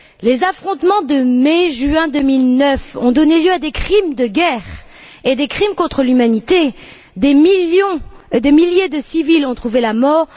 Les affrontements de mai et juin 2009 ont donné lieu à des crimes de guerre et des crimes contre l'humanité, et des milliers de civils ont trouvé la mort.